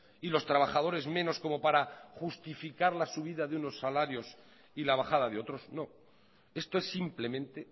y los trabajadores menos como para justificar la subida de unos salarios y la bajada de otros no esto es simplemente